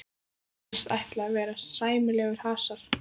Virðist ætla að verða sæmilegur hasar.